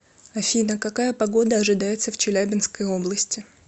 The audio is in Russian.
афина какая погода ожидается в челябинской области